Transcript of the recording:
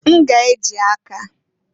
N ga-eji aka.